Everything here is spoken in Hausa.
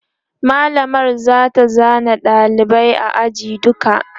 mallamar zata zana ɗaliban ajin duka